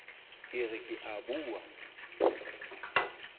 ke re ke a bua